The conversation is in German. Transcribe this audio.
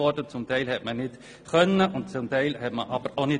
Teilweise konnte man dies nicht tun, doch zum Teil wollte man es auch nicht.